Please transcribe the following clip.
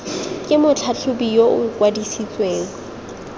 ke motlhatlhobi yo o kwadisitsweng